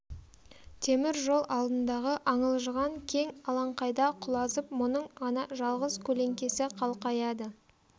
темір жол алдындағы аңылжыған кең алаңқайда құлазып мұның ғана жалғыз көлеңкесі қалқаяды